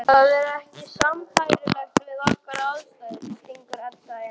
Það er ekki sambærilegt við okkar aðstæður, stingur Edda inn.